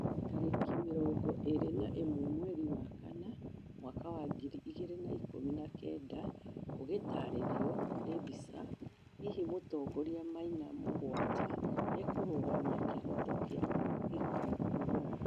tarĩki mĩrongo ĩrĩ na imwe mweri wa kanana mwaka wa ngiri igĩrĩ na ikũmi na kenda, ugĩtarĩrio nĩ mbica, hihi mũtongorĩa maina mũgwanja nĩakũrũgamia kĩoho kĩa gĩkuũ Uganda